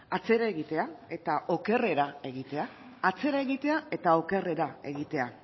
atzera egitea eta okerrera egitea atzera egitea eta okerrera egitea